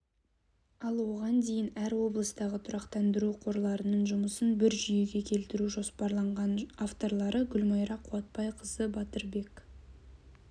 ал оған дейін әр облыстағы тұрақтандыру қорларының жұмысын бір жүйеге келтіру жоспарланған авторлары гүлмайра қуатбайқызы батырбек